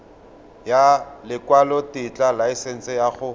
ya lekwalotetla laesense ya go